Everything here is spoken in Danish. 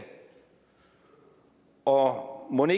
og mon